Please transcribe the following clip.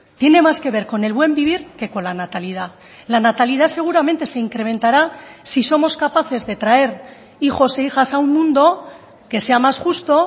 tiene más que ver con el buen vivir que con la natalidad la natalidad seguramente se incrementará si somos capaces de traer hijos e hijas a un mundo que sea más justo